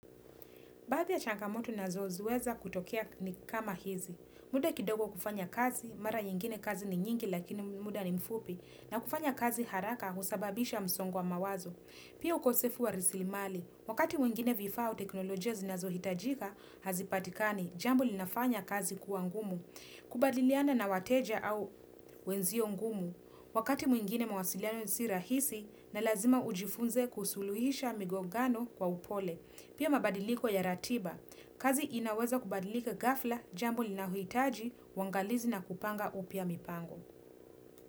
Baadhii ya changamoto nazinazoweza kutokea ni kama hizi. Muda kidogo wa kufanya kazi, mara yengine kazi ni nyingi lakini muda ni mfupi. Na kufanya kazi haraka husababisha msongo wa mawazo. Pia ukosefu wa rasilimali. Wakati mwingine vifaa au teknolojia zinazohitajika, hazipatikani. Jambo linafanya kazi kuwa ngumu. Kubadiliana na wateja au wenzio ngumu. Wakati mwingine mwasiliano si rahisi na lazima ujifunze kusuluhisha migogano kwa upole. Pia mabadiliko ya ratiba. Kazi inaweza kubadilika ghafla, jambo linalohitaji, wangalizi na kupanga upya mipango.